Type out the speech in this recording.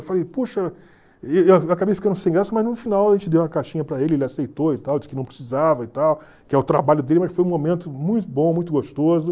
Eu falei, puxa... Eu acabei ficando sem graça, mas no final a gente deu uma caixinha para ele, ele aceitou e tal, disse que não precisava e tal, que é o trabalho dele, mas foi um momento muito bom, muito gostoso.